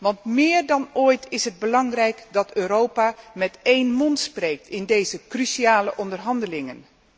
Want meer dan ooit is het belangrijk dat Europa met één mond spreekt in deze cruciale onderhandelingen.